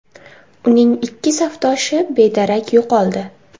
Uning ikki safdoshi bedarak yo‘qoldi.